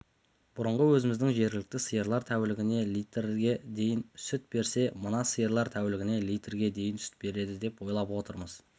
бұрынғы өзіміздің жергілікті сиырлар тәулігіне литрге дейін сүт берсе мына сиырлар тәулігіне литрге дейін сүт береді деп ойлап отырмыз